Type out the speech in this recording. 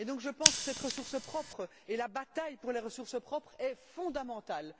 Je pense, donc, que cette ressource propre et la bataille pour les ressources propres sont fondamentales.